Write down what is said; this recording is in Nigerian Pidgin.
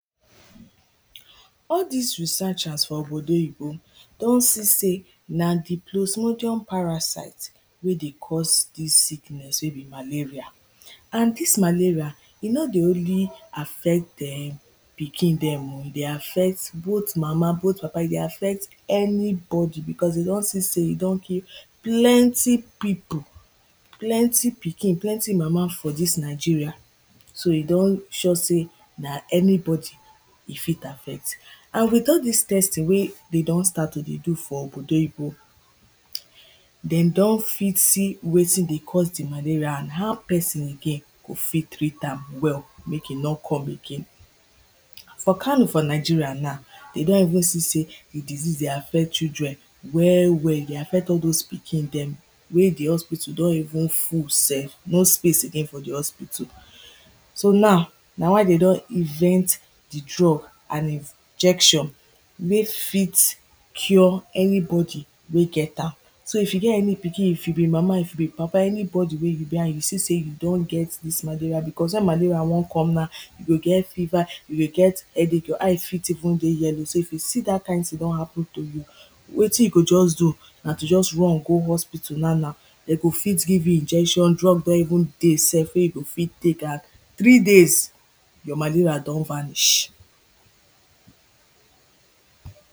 All dis researchers for obodoyibo don see sey na di plosmodium parasite wey dey cause dis sickness wey be malaria and dis malaria, e no dey only affect dem pikin dem. E dey affect both mama, both papa, e dey affect anybody becos dem don see sey e don kill plenty pipo, plenty pikin, plenty mama for dis Nigeria so e don sure sey na anybody e fit affect and with all dis testing wey dem don start to dey do for obodoyibo dem don fit see wetin dey cause di malaria and how person again dey fit treat am well make e no come again For Kano for Nigeria na, we don even see sey di disease dey affect children well well dey affect all those pikin dem wey di hospital don even full self, no space again for di hospital so now, na why dem don invent di drug and injection wey fit cure any body wey get am So if you get any pikin, if you be mama, if you be papa anybody wey you be and you see sey you don get dis malaria, becos wen malaria wan come now you go get fever, you go get headache, you eyes fit even dey yellow, so if you see dat kind thing wan happen to you wetin you go just do, na to just run go hospital now now dem go fit give you injection, drugs don even dey self wey you go fit take and three days your malaria don vanish